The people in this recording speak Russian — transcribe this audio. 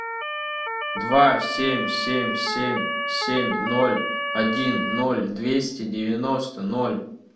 два семь семь семь семь ноль один ноль двести девяносто ноль